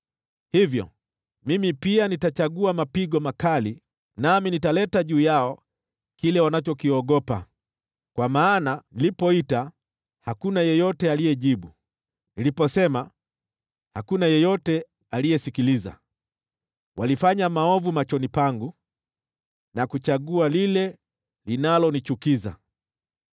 Hivyo, mimi pia nitawachagulia mapigo makali, nami nitaleta juu yao kile wanachokiogopa. Kwa maana nilipoita, hakuna yeyote aliyejibu, niliposema, hakuna yeyote aliyesikiliza. Walifanya maovu machoni pangu na kuchagua lile linalonichukiza.”